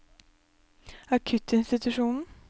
akuttinstitusjonen